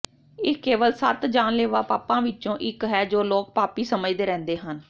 ਇਹ ਕੇਵਲ ਸੱਤ ਜਾਨਲੇਵਾ ਪਾਪਾਂ ਵਿੱਚੋਂ ਇੱਕ ਹੈ ਜੋ ਲੋਕ ਪਾਪੀ ਸਮਝਦੇ ਰਹਿੰਦੇ ਹਨ